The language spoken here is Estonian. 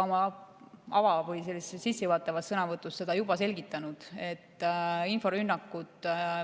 Oma sissejuhatavas sõnavõtus ma juba selgitasin, et inforünnakud ja